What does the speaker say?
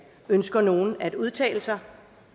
ønsker nogen at udtale sig